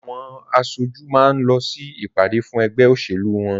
Àwọn aṣojú máa ń lọ sí ìpàdé fún ẹgbẹ́ òṣèlú wọ́n